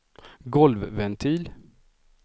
golvventil